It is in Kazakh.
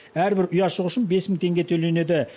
әрбір ұяшық үшін бес мың теңге төленеді